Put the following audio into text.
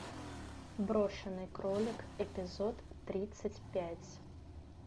брошенный кролик эпизод тридцать пять